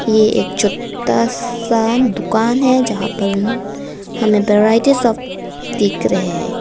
ये एक छोटा सा दुकान है जहां पर हमें दिख रहे हैं।